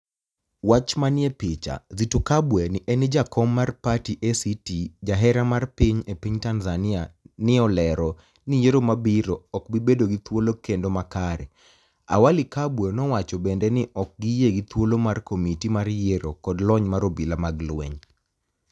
wach maniie picha Zitto Kabwe ni eni jakom mar pati ACT sjahera mar piniy e piniy tanizaniia ni e olero ni yiero mabiro ok bi bedo gi thuol kenido makare, Awali Kabwe no wacho benide nii ok giyie gi thuolo mar komitimar yiero kod loniy mar obila mag lweniy.